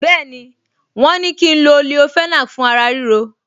Bẹ́ẹ̀ni, wọ́n ní kí n lo leofenac fún ara ríro